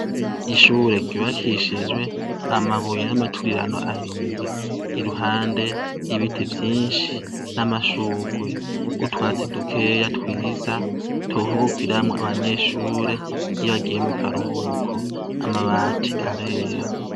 ishure ryubakishijwe amabuye n'amaturirano ahiye iruhande ibiti vyinshi n'amashurwe utwatsi dukeya twiza turuhukiramwo abanyeshure iyo agiye mu karuhuko amabati arera